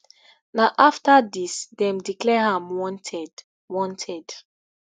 na afta dis dem declare am wanted wanted